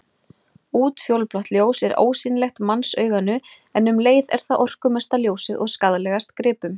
Útfjólublátt ljós er ósýnilegt mannsauganu en um leið er það orkumesta ljósið og skaðlegast gripum.